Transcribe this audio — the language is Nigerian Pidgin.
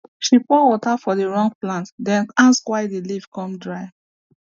she pour water for the wrong plant then ask why the leaf come dry